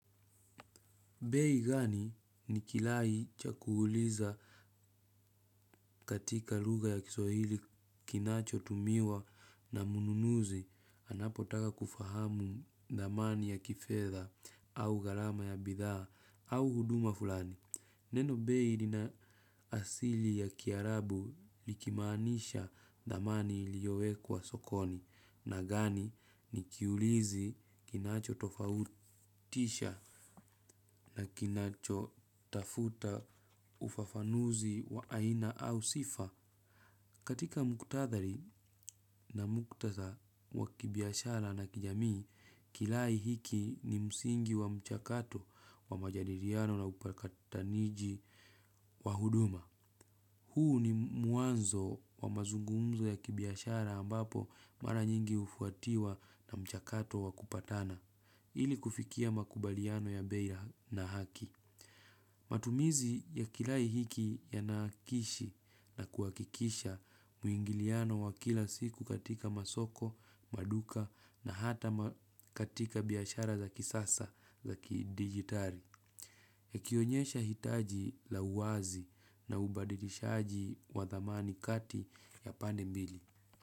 Bei gani ni kilai cha kuuliza katika lugha ya kiswahili kinacho tumiwa na mnunuzi anapotaka kufahamu thamani ya kifedha au gharama ya bidhaa au huduma fulani. Neno bei lina asili ya kiarabu likimanisha thamani iliyoekwa sokoni na gani ni kiulizi kinacho tofautisha na kinacho tafuta ufafanuzi wa aina au sifa. Katika muktadhari na mkutadha wa kibiashara na kijamii, kilai hiki ni msingi wa mchakato wa majadiliano na upakataniji wa huduma. Huu ni muanzo wa mazungumzo ya kibiashara ambapo mara nyingi ufuatiwa na mchakato wa kupatana, ili kufikia makubaliano ya bei na haki. Matumizi ya kilai hiki yanakishi na kuhakikisha muingiliano wa kila siku katika masoko, maduka na hata katika biashara za kisasa za kidigitali. Ya kionyesha hitaji la uwazi na ubadilishaji wa thamani kati ya pande mbili.